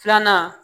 Filanan